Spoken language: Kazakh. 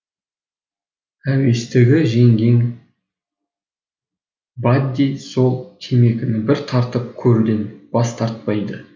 әуестігі жеңген бадди сол темекіні бір тартып көруден бас тартпайды